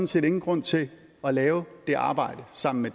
set ingen grund til at lave det arbejde sammen med